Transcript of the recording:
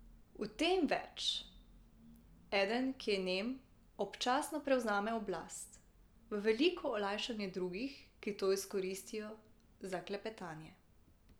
V tem več, eden, ki je nem, občasno prevzame oblast, v veliko olajšanje drugih, ki to izkoristijo za klepetanje.